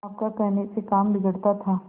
आपका कहने से काम बिगड़ता था